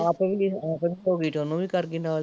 ਆਪ ਆਪ ਵੀ ਹੋਗੀ ਤੇ ਓਹਨੂੰ ਵੀ ਕਰਗੀ ਨਾਲੈ ਈ